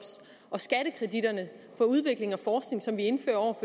og skattekreditterne for udvikling og forskning som vi indfører